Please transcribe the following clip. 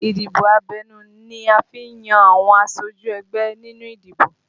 Ìdìbò abẹ́nú ni a fi n yan àwọn aṣojú ẹgbẹ́ nínú ìdìbò